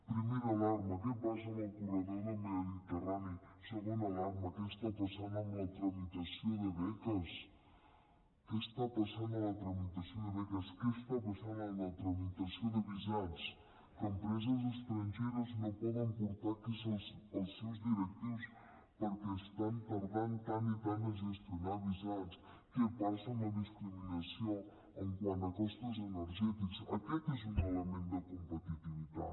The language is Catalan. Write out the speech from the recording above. primera alarma què passa amb el corredor mediterrani segona alarma què està passant amb la tramitació de beques què està passant amb la tramitació de visats que empreses estrangeres no poden portar aquí els seus directius perquè estan tardant tant i tant a gestionar visats què passa amb la discriminació quant a costos energètics aquest és un element de competitivitat